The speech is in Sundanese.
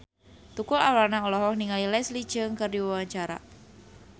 Tukul Arwana olohok ningali Leslie Cheung keur diwawancara